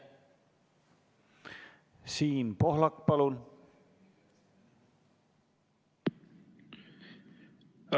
Siim Pohlak, palun!